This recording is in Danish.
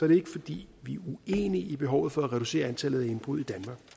det ikke fordi vi er uenige i behovet for at reducere antallet af indbrud